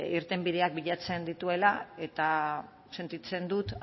irtenbideak bilatzen dituela eta sentitzen dut